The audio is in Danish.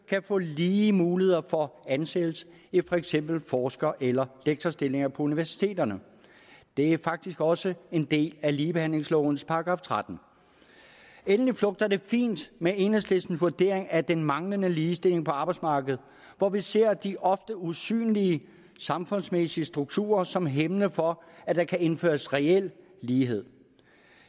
få lige muligheder for at få ansættelse i for eksempel forsker eller lektorstillinger på universiteterne det er faktisk også en del af ligebehandlingslovens § trettende endelig flugter det fint med enhedslistens vurdering er den manglende ligestilling på arbejdsmarkedet hvor vi ser de ofte usynlige samfundsmæssige strukturer som hæmmende for at der kan indføres reel lighed